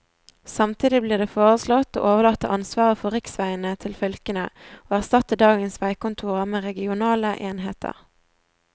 Samtidig blir det foreslått å overlate ansvaret for riksveiene til fylkene, og erstatte dagens veikontorer med regionale enheter.